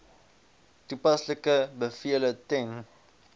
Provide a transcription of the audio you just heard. toepaslike bevele ten